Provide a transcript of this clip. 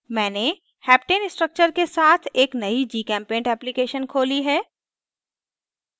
मैंने heptane structure के साथ एक नयी gchempaint application खोली है